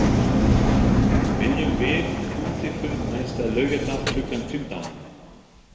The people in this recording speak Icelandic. Viljum við útifund næsta laugardag klukkan fimmtán?